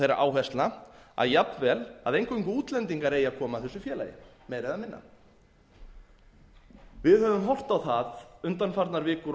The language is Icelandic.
þeirra áherslna að jafnvel eingöngu útlendingar eigi að koma að þessu félagi meira eða minna við höfum horft á það undanfarnar vikur og